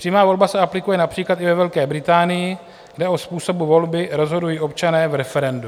Přímá volba se aplikuje například i ve Velké Británii, kde o způsobu volby rozhodují občané v referendu.